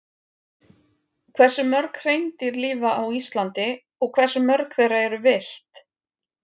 Hversu mörg hreindýr lifa á Íslandi og hversu mörg þeirra eru villt?